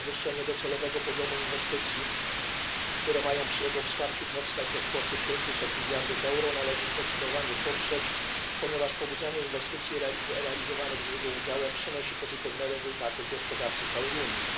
i podwyższenie docelowego poziomu inwestycji, które mają przy jego wsparciu powstać, do kwoty 500 mld euro należy zdecydowanie poprzeć, ponieważ pobudzanie inwestycji realizowanych z jego udziałem przynosi pozytywne rezultaty w gospodarce całej Unii.